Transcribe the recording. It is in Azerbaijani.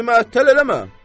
Bizi əttəl eləmə.